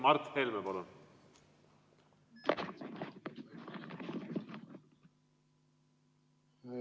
Mart Helme, palun!